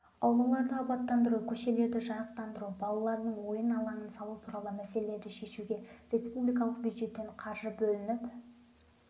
аулаларды абаттандыру көшелерді жарықтандыру балалардың ойын алаңын салу туралы мәселелерді шешуге республикалық бюджеттен қаржы бөлініп